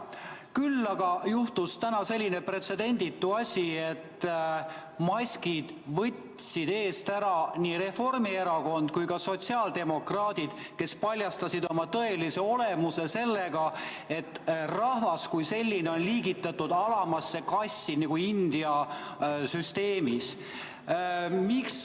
Küll aga juhtus täna selline pretsedenditu asi, et maskid võtsid eest ära nii Reformierakond kui ka sotsiaaldemokraadid, kes paljastasid oma tõelise olemuse sellega, et rahvas kui selline on liigitatud alamasse klassi nagu India süsteemis.